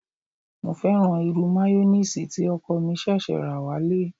Mo fẹ́ràn irú mayoníìsì tí ọkọ̀ mi ṣẹ̀ṣẹ̀ rà wálé